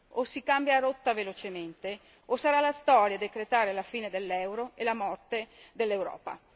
O si cambia rotta velocemente o sarà la storia a decretare la fine dell'euro e la morte dell'Europa.